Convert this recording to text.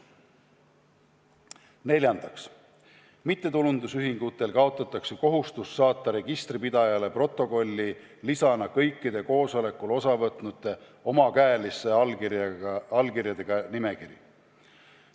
Neljandaks, mittetulundusühingutel kaotatakse kohustus saata registripidajale protokolli lisana kõikide koosolekul osavõtnute omakäeliste allkirjadega nimekiri.